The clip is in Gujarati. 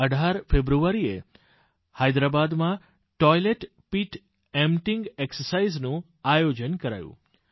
1718 ફેબ્રુઆરીએ હૈદરાબાદમાં ટોઇલેટ પીટ એમ્પટાઇંગ એક્સરસાઇઝ નું આયોજન કરાયું